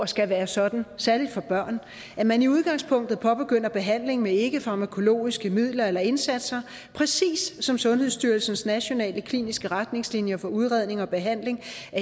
skal være sådan særlig for børn at man i udgangspunktet påbegynder behandlingen med ikkefarmakologiske midler eller indsatser præcis som sundhedsstyrelsens nationale kliniske retningslinjer for udredning og behandling af